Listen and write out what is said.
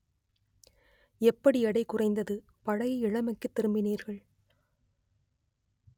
எப்படி எடை குறைந்தது பழைய இளமைக்கு திரும்பினீர்கள்